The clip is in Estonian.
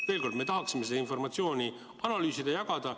Veel kord: me tahaksime seda informatsiooni analüüsida, jagada.